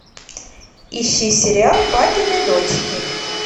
ищи сериал папины дочки